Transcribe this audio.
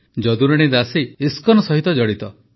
ଯଦୁରାଣୀ ଦାସୀ ଇସ୍କନ ସହ ଜଡ଼ିତ